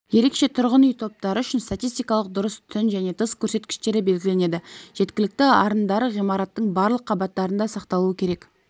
ерекше тұрғын үй топтары үшін статистикалық дұрыс түн және тыс көрсеткіштері белгіленеді жеткілікті арындары ғимараттың барлық қабаттарында сақталуы керек